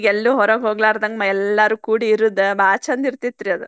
ಎಲ್ಲೂ ಹೊರಗ್ ಹೊಗ್ಲಾರದಂಗ ಎಲ್ಲಾರು ಕೂಡಿ ಇರುದ ಬಾಳ ಚಂದ್ ಇರ್ತಿತ್ತ್ರಿ ಅದ್.